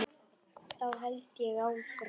Þá held ég áfram.